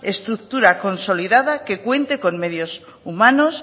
estructura consolidada que cuente con medios humanos